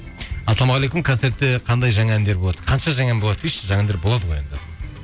ассалаумағалейкум концертте қандай жаңа әндер болады қанша жаңа ән болады дейікші жаңа әндер болады ғой енді